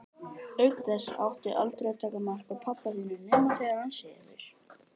Auk þess áttu aldrei að taka mark á pabba þínum nema þegar hann sefur.